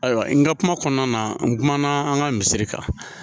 Ayiwa n ka kuma kɔnɔna na n kumana an ka misiri kan